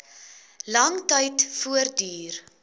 lang tyd voortduur